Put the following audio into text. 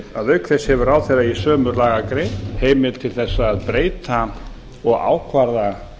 en auk þess hefur ráðherra í sömu lagagrein heimild til að breyta og ákvarða